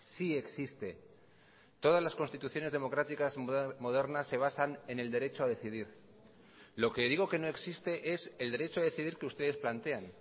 sí existe todas las constituciones democráticas modernas se basan en el derecho a decidir lo que digo que no existe es el derecho a decidir que ustedes plantean